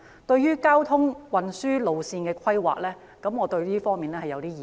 對於交通運輸路線的規劃，我有一些意見。